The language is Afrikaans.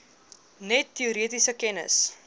net teoretiese kennis